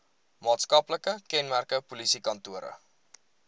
maatskaplike kenmerke polisiekantore